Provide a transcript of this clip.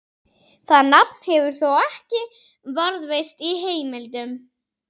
Það nafn hefur þó ekki varðveist í heimildum.